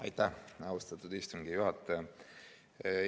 Aitäh, austatud istungi juhataja!